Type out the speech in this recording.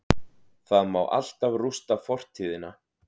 Það má alltaf rústa fortíðina-